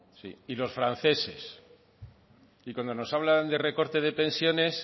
sí y los franceses y cuando nos hablan de recorte de pensiones